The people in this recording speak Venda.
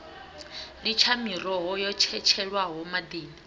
litsha miroho yo tshetshelwaho maḓini